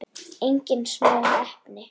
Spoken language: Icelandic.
Engin smá heppni!